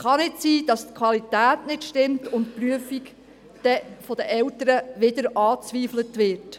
Es kann nicht sein, dass die Qualität nicht stimmt und die Prüfung von den Eltern wieder angezweifelt wird.